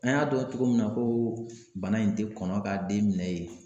An y'a dɔn cogo min na ko bana in tɛ kɔnɔ ka den minɛ ye